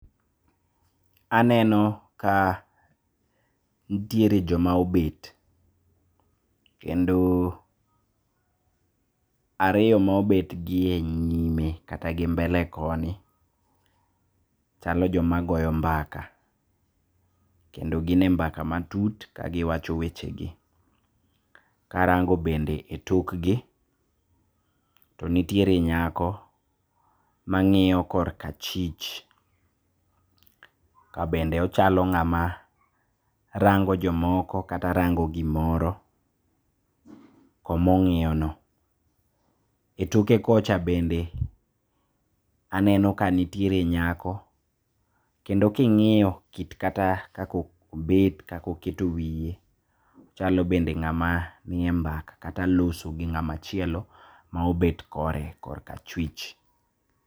Aneno ka ntiere joma obet, kendo ariyo maobet gi e nyime kata gi mbele koni chalo joma goyo mbaka, kendo gine mbaka matut kagiwacho wechegi. Karango bende e tokgi, to nitiere nyako mang'iyo korka achich kabende ochalo ng'ama rango jomoko kata rango gimoro komo ong'iyono. E toke kocha bende aneno ka nitiere nyako kendo king'iyo kit kata kaka obet kaka oketo wie chalo bende ng'ama nie mbaka kata loso gi ng'ama chielo maobet kore korka achwich.